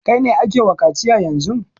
Kai ne ake wa kaciya yanzun!